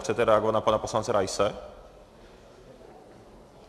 Chcete reagovat na pana poslance Raise?